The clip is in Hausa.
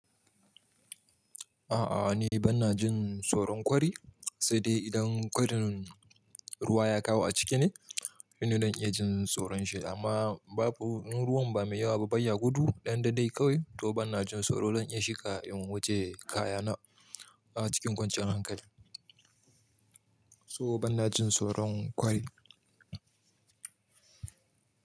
A'a, ni bana jin soron kwari sai dai idan kwarin ruwa ya kawo a ciki ne, shi ne zan iya jin soron shi. Amma babu in ruwan ba mai yawa ba, baya gudu, ɗan daɗai kawai to bana jin soro. Zan iya shiga in wuce kayana a cikin kwanciyar hankali. So bana jin soron kwari.